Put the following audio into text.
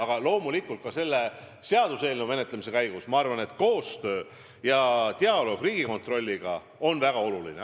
Aga loomulikult, ka selle seaduseelnõu menetlemisel on koostöö ja dialoog Riigikontrolliga väga oluline.